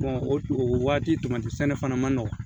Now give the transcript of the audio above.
o o waati sɛnɛ fana ma nɔgɔn